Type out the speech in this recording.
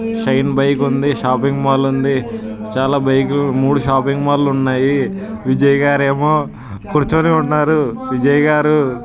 Shine bike shopping mall ఉంది. చాలా బైకలు లో మూడు షాపింగ్ మాల్ ఉన్నాయో విజయ్ గారేమో కూర్చోనే ఉన్నారు. విజయ్ గారు.